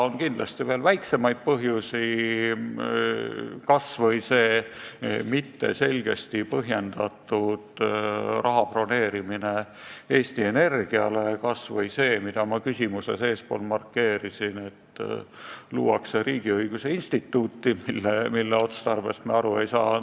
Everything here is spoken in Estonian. On kindlasti ka väiksemaid põhjusi, kas või see segaselt põhjendatud raha broneerimine Eesti Energiale või see, mida ma oma küsimuses markeerisin, et tahetakse luua riigiõiguse instituuti, mille otstarbest me aru ei saa.